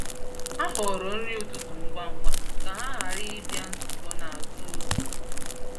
Ha họọrọ nri ụtụtụ ngwa ngwa ka ha ghara ịbịa nzukọ n’azụ oge.